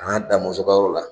Damɔzɔn ka yɔrɔ la.